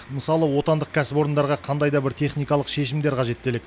мысалы отандық кәсіпорындарға қандай да бір техникалық шешімдер қажет делік